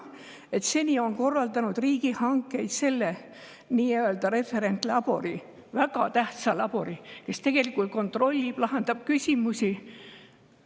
Referentlabor, väga tähtis labor, tegelikult kontrollib ja lahendab küsimusi.